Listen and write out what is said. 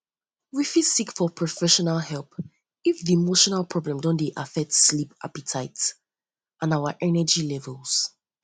we fit seek for professional help if di um emotional problem um don dey affect sleep appetite affect sleep appetite and our energy levels um